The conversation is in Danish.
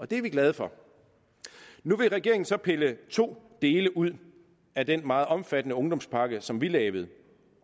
det er vi glade for nu vil regeringen så pille to dele ud af den meget omfattende ungdomspakke som vi lavede